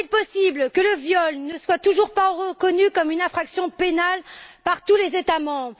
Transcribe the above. Comment est il possible que le viol ne soit toujours pas reconnu comme une infraction pénale par tous les États membres?